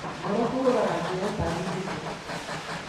Ngoro kũhũra na njĩra ĩtagĩrĩire,